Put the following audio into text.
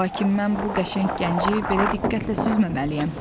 Lakin mən bu qəşəng gənci belə diqqətlə süzməməliyəm.